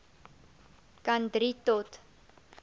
kan drie tot